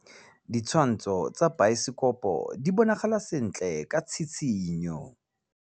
Ditshwantshô tsa biosekopo di bonagala sentle ka tshitshinyô.